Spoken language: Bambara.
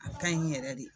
A ka ɲi yɛrɛ de